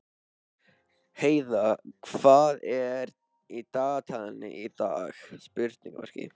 Heiða, hvað er í dagatalinu í dag?